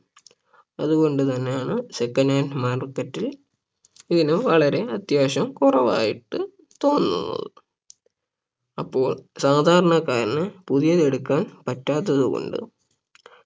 അതുകൊണ്ട് തന്നെയാണ് second hand market ൽ ഇതിന് വില വളരെ അത്യാവശ്യം കുറവായിട്ട് തോന്നുന്നത് അപ്പോൾ സാധാരണക്കാരന് പുതിയത് എടുക്കാൻ പറ്റാത്തത് കൊണ്ട്